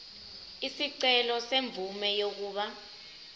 isicelo semvume yokuba